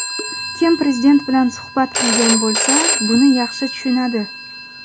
Kim Prezident bilan suhbat qilgan bo‘lsa, buni yaxshi tushunadi.